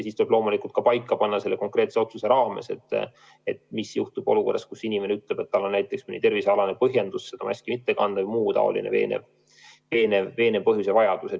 Siis tuleb loomulikult selle konkreetse otsuse raames paika panna, mis juhtub olukorras, kus inimene ütleb, et tal on mõni tervisealane või muu veenev põhjus maski mitte kanda.